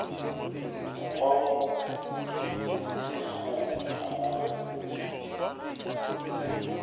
mokgwa wo e lego gore